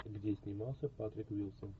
где снимался патрик уилсон